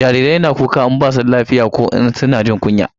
Jarirai na kuka in ba su da lafiya ko suna jin yunwa